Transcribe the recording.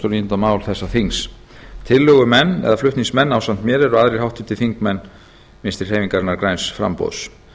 níunda mál þessa þings tillögumenn eða flutningsmenn ásamt mér eru háttvirtir þingmenn vinstri hreyfingarinnar græns framboðs